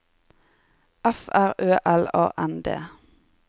F R Ø L A N D